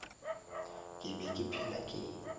ke be ke phela ke